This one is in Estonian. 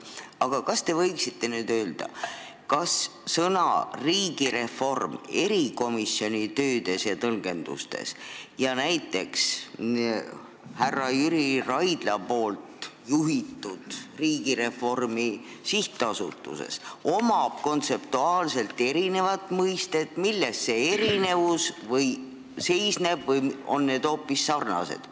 Aga kas te võite nüüd öelda, kas sõna "riigireform" erikomisjoni töödes ja tõlgendustes ning näiteks härra Jüri Raidla juhitud Riigireformi SA-s on kontseptuaalselt erinev mõiste ja milles see erinevus seisneb või on need mõisted hoopis sarnased?